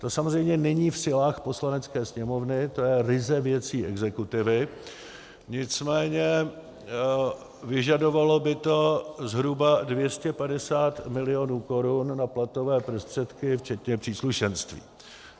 To samozřejmě není v silách Poslanecké sněmovny, to je ryze věcí exekutivy, nicméně vyžadovalo by to zhruba 250 milionů korun na platové prostředky včetně příslušenství.